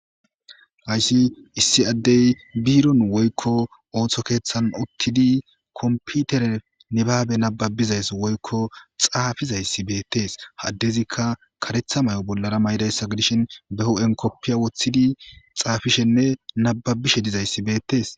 Hayiss issi adeyi bironni woyikko oththo keththanni uttidi komippitere nibbabe nabbabizayi woyikko xaafizayiss betees.adezikka kareththa mayo bollara mayidayissa gidishin bee huphphenni kopiya woththidi xaafishshenne nababishshe dizayiss betees.